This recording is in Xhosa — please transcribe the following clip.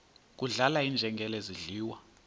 kudlala iinjengele zidliwa